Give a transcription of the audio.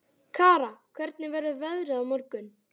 Kara, hvernig verður veðrið á morgun?